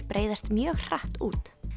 breiðast mjög hratt út